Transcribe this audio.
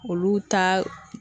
Olu ta